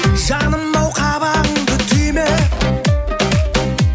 жаным ау қабағыңды түйме